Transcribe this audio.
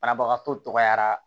Banabagatɔyara